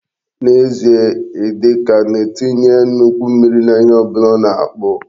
N'ezie, Idika na-etinye nnukwu mmiri n'ihe ọ bụla ọ na-akpụ.